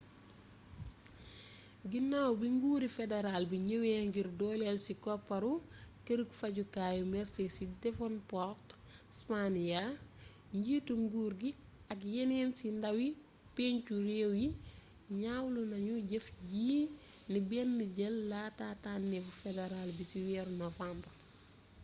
ginnaw bi nguuri federal bi ñëwé ngir dooléel ci koppar kërug fajukaayu mersey ci devonport tasmania njiitu nguur gi ak yénn ci ndawi peencu réew yi ñawlu nañu jëf ji ni bénn jell laata tannéfu federal bi ci weeru nowambar